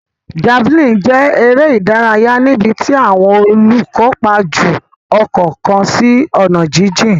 Javelin jẹ eré ìdárayá níbití àwọn olukopa jù okò kán sí onà jijìn.